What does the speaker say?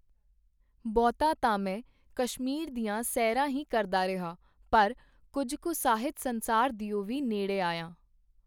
ਬਹੁਤਾ ਤਾਂ ਮੈਂ ਕਸ਼ਮੀਰ ਦੀਆਂ ਸੈਰਾਂ ਹੀ ਕਰਦਾ ਰਿਹਾ, ਪਰ ਕੁੱਝ ਕੁ ਸਾਹਿਤ-ਸੰਸਾਰ ਦਿਓ ਵੀ ਨੇੜੇ ਆਇਆ.